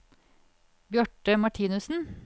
Bjarte Martinussen